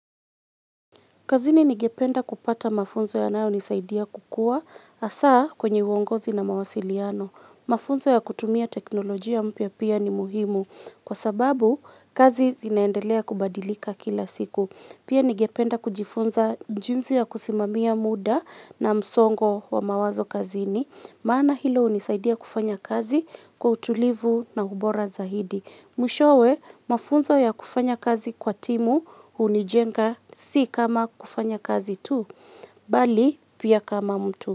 Kazini ningependa kupata mafunzo yanaoyo nisaidia kukua hasaa kwenye uongozi na mawasiliano. Mafunzo ya kutumia teknolojia mpya pia ni muhimu kwa sababu kazi zinaendelea kubadilika kila siku. Pia ningependa kujifunza jinsi ya kusimamia muda na msongo wa mawazo kazini. Maana hilo hunisaidia kufanya kazi kwa utulivu na ubora zaidi. Mwishowe mafunzo ya kufanya kazi kwa timu hunijenga si kama kufanya kazi tu, bali pia kama mtu.